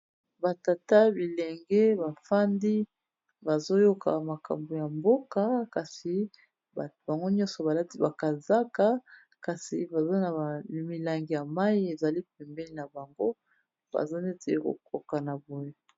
Ba tata bilenge bafandi bazoyoka makambo ya mboka kasi bango nyonso baladi bakazaka, kasi baza na milangi ya mai ezali pembeli na bango baza neti kokoka na boya.